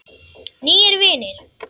Nýir vinir